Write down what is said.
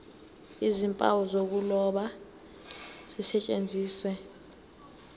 nezimpawu zokuloba zisetshenziswe